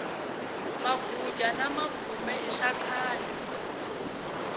maguja na magume i swakhale